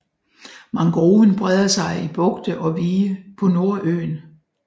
Mangroven breder sig i bugte og vige på Nordøen